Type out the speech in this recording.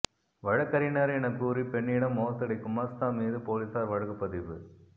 வழக்கறிஞர் என கூறி பெண்ணிடம் மோசடி குமாஸ்தா மீது போலீசார் வழக்கு பதிவு